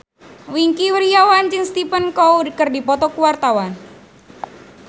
Wingky Wiryawan jeung Stephen Chow keur dipoto ku wartawan